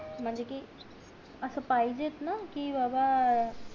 म्हणजे कि असं पाहिजे च ना कि बाबा